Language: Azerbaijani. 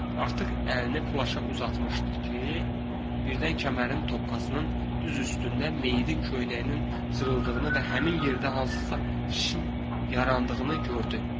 Artıq əlini plaşa uzatmışdı ki, birdən kəmərin tokkasının düz üstündə meyidin köynəyinin cırıldığını və həmin yerdə hansısa şişin yarandığını gördü.